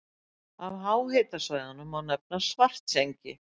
Af háhitasvæðum má nefna Svartsengi.